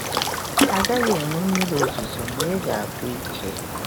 A gaghị enwe mmiri ozuzo, ma ị ga-agwụ ike.”